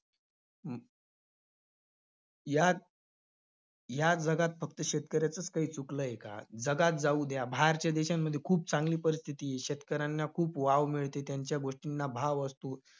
यात~ या जगात फक्त शेतकऱ्याचंच काही चुकलंय का? जगात जाऊ द्या, बाहेरच्या देशांमध्ये खूप चांगली परिस्थिती आहे. शेतकऱ्यांना खूप वाव मिळते, त्यांच्या गोष्टींना भाव असतो.